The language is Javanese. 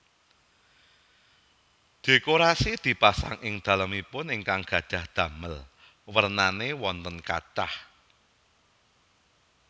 Dhékorasi dipasang ing dhalemipun ingkang gadhah dhamel wernané wonten kathah